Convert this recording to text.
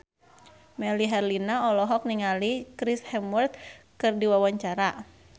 Melly Herlina olohok ningali Chris Hemsworth keur diwawancara